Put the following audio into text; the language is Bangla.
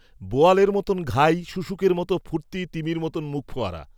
বোয়ালের মতো ঘাই শুশুকের মতো ফূর্তি তিমির মতো মুখফোয়ারা